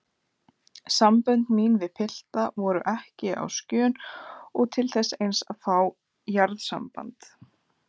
Sambönd mín við pilta voru ekki á skjön og til þess eins að fá jarðsamband.